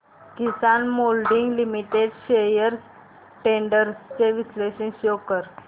किसान moulding limited shares trends चे विश्लेषण show कर